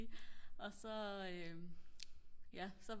og så ja så